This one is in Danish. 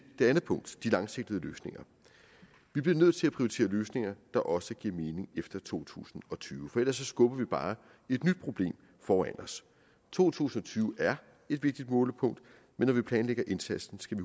det andet punkt de langsigtede løsninger vi bliver nødt til at prioritere løsninger der også giver mening efter to tusind og tyve for ellers skubber vi bare et nyt problem foran os to tusind og tyve er et vigtigt målepunkt men når vi planlægger indsatsen skal